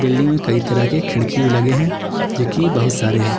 में कई तरह के खिड़की भी लगे हैं जो कि बहुत सारे हैं।